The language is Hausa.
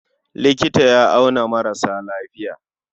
Likita ya auna maras lafiya.